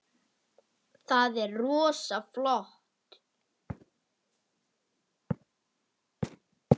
Það er rosa flott.